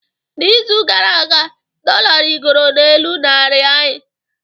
N'izu gara aga, dollar rịgoro n'elu naira anyị